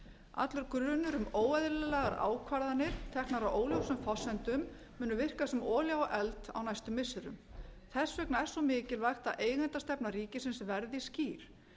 allur grunur um óeðlilegar ákvarðanir teknar á óljósum forsendum munu virka sem olía á eld á næstu missirum þess vegna er svo mikilvægt að eigendastefna ríkisins verði skýr